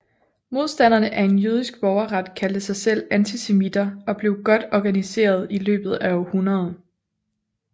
Modstanderne af jødisk borgerret kaldte sig selv antisemitter og blev godt organiserede i løbet af århundredet